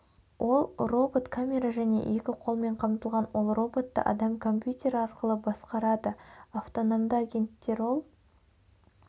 ол робот камера және екі қолмен қамтылған ол роботты адам компьютер арқылы басқарады автономды агенттер ол